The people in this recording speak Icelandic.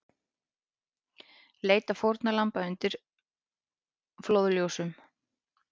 Leita fórnarlamba undir flóðljósum